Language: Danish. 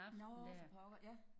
Nårh for pokker ja